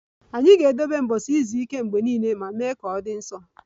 Anyị ga-edebe ụbọchị izu ike mgbe niile ma mee ka ọ dị nsọ